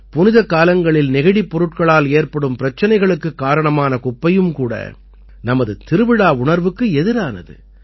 புனிதக்காலங்களில் நெகிழிப் பொருட்களால் ஏற்படும் பிரச்சனைக்குக் காரணமான குப்பையும் கூட நமது திருவிழா உணர்வுக்கு எதிரானது